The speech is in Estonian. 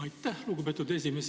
Aitäh, lugupeetud esimees!